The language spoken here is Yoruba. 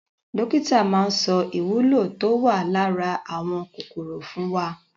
Dókítà maa sọ ìwúlò tó wà lára àwọn kòkòrò fún wa.